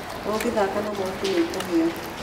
Ũngĩthaka na mwaki nĩ ũkũhĩa.